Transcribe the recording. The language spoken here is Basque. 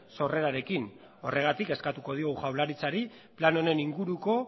sorrerarekin horregatik eskatuko dio jaurlaritzari plan honen inguruko